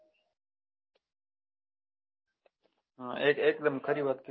હા એક દમ ખરી વાત કરી